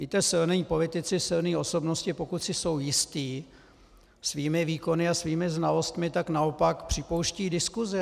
Víte, silní politici, silné osobnosti, pokud si jsou jistí svými výkony a svými znalostmi, tak naopak připouštějí diskusi.